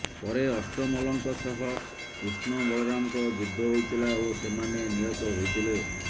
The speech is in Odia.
ପରେ ଅଷ୍ଟମଲ୍ଲଙ୍କ ସହ କୃଷ୍ଣ ବଳରାମଙ୍କ ଯୁଦ୍ଧ ହୋଇଥିଲା ଓ ସେମାନେ ନିହତ ହୋଇଥିଲେ